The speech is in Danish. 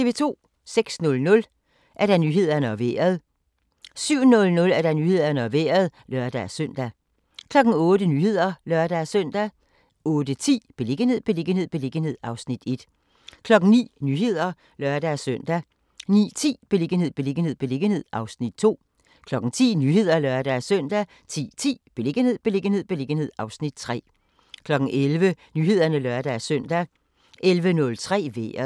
06:00: Nyhederne og Vejret 07:00: Nyhederne og Vejret (lør-søn) 08:00: Nyhederne (lør-søn) 08:10: Beliggenhed, beliggenhed, beliggenhed (Afs. 1) 09:00: Nyhederne (lør-søn) 09:10: Beliggenhed, beliggenhed, beliggenhed (Afs. 2) 10:00: Nyhederne (lør-søn) 10:10: Beliggenhed, beliggenhed, beliggenhed (Afs. 3) 11:00: Nyhederne (lør-søn) 11:03: Vejret